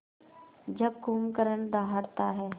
जब कुंभकर्ण दहाड़ता है